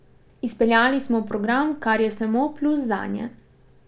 Izpeljali smo program, kar je samo plus zanje.